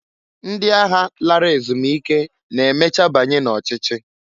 Ndi agha lara ezumike na-emecha banye n'ochichi.